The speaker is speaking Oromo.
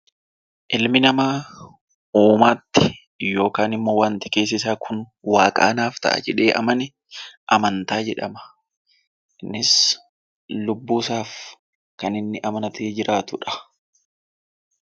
Ilmi namaa uumaatti yookaan immoo wanta keessisaa kun waaqa anaaf ta'a jedhee amane amantaa jedhama. Innis lubbuusaaf kan inni amanatee jiraatudha.